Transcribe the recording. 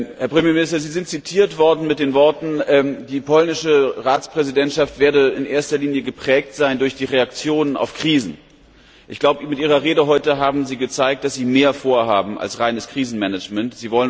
Herr Premierminister, Sie sind zitiert worden mit den Worten Die polnische Ratspräsidentschaft werde in erster Linie geprägt sein durch die Reaktionen auf Krisen. Ich glaube, mit Ihrer Rede heute haben Sie gezeigt, dass Sie mehr vorhaben als reines Krisenmanagement.